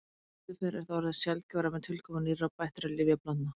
Sem betur fer er það orðið sjaldgæfara með tilkomu nýrra og bættra lyfjablandna.